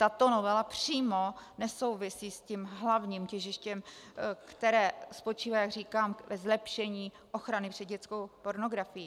Tato novela přímo nesouvisí s tím hlavním těžištěm, které spočívá, jak říkám, ve zlepšení ochrany před dětskou pornografií.